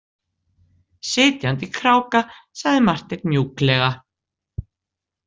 Sitjandi kráka, sagði Marteinn mjúklega.